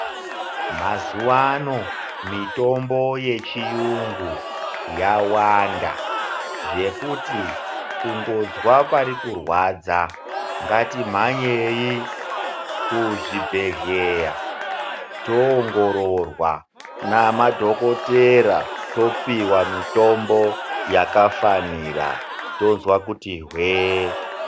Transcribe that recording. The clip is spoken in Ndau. Mazuva ano mitombo yechiyungu yawanda. Zvekuti kungozwa parikurwadza ngatimhanyei kuzvibhedhleya toongororwa namadhokotera. Topihwa mitombo yakafanira tozwa kuti hwee.